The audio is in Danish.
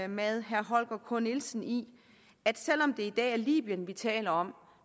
med herre holger k nielsen i at selv om det i dag er libyen vi taler om